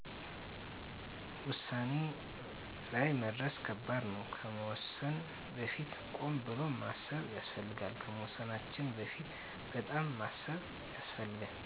ወሳኔ ላይ መድረስ ከባድ ነው ከመወሰን በፊት ቆም ብሎ ማሰብ ያስፈልጋል ከመወሰናችን በፊት በጣም ማሰብ ያሰፈልጋል